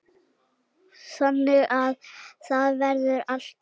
Þannig að það verður alltaf.